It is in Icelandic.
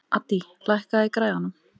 Addý, lækkaðu í græjunum.